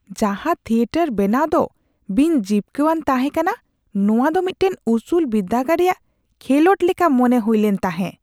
ᱡᱟᱦᱟᱸ ᱛᱷᱤᱭᱮᱴᱟᱨ ᱵᱮᱱᱟᱣ ᱫᱚ ᱵᱤᱱ ᱡᱤᱵᱠᱟᱹᱣᱟᱱ ᱛᱟᱦᱮᱸ ᱠᱟᱱᱟ ᱾ᱱᱚᱶᱟ ᱫᱚ ᱢᱤᱫᱴᱟᱝ ᱩᱥᱩᱞ ᱵᱤᱨᱫᱟᱹᱜᱟᱲ ᱨᱮᱭᱟᱜ ᱠᱷᱮᱞᱚᱰ ᱞᱮᱠᱟ ᱢᱚᱱᱮ ᱦᱩᱭᱞᱮᱱ ᱛᱟᱦᱮᱸ ᱾